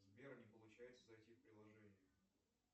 сбер не получается зайти в приложение